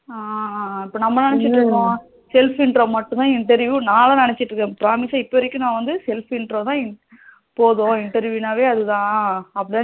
அஹ் அஹ் இப்போ நம்ம நினசீட்டு இருக்கோம் self intro மட்டுமே interview நானே நினசீட்டு இருக்கேன் promise ஆ இப்போ வரைக்கும் நா வந்து self intro தான் போதும் interview வே அதுதான் அப்படித்தான்